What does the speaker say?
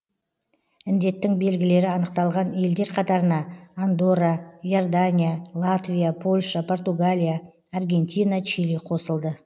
індеттің белгілері анықталған елдер қатарына андорра иордания латвия польша португалия аргентина чили қосылды